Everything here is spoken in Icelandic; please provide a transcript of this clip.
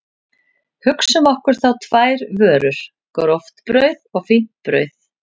Hugsum okkur þá tvær vörur, gróft brauð og fínt brauð.